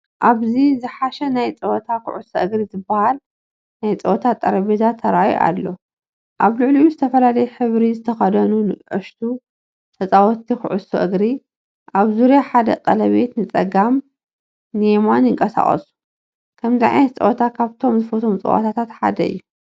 ኣብቲ ዝሓሸ ናይ ጸወታ “ኩዕሶ እግሪ” ዝበሃል ናይ ጸወታ ጠረጴዛ ተራእዩ ኣሎ። ኣብ ልዕሊኡ ዝተፈላለየ ሕብሪ ዝተኸድኑ ንኣሽቱ ተጻወትቲ ኩዕሶ እግሪ ኣብ ዙርያ ሓደ ቀለቤት ንጸጋምን የማንን ይንቀሳቐሱ። ከምዚ ዓይነት ፀወታ ካብቶም ዝፈትወም ፀወታታት ሓደ እዩ።